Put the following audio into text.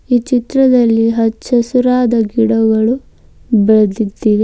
ಈ ಚಿತ್ರದಲ್ಲಿ ಹಚ್ಚಹಸಿರಾದ ಗಿಡಗಳು ಬೆಳೆದ್ದಿದೆ.